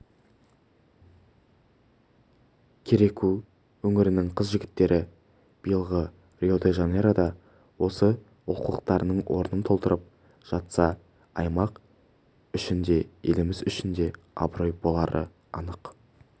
кереку өңірінің қыз-жігіттері биылғы рио-де-жанейрода осы олқылықтың орнын толтырып жатса аймақ үшін де еліміз үшін де абырой болары анық